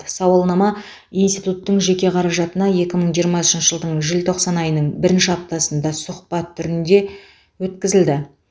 сауалнама институттың жеке қаражатына екі мың жиырмасыншы жылдың желтоқсан айының бірінші аптасында сұхбат түрінде өткізілді